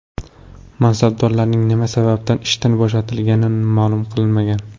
Mansabdorlarning nima sababdan ishdan bo‘shatilgani ma’lum qilinmagan.